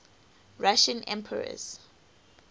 russian emperors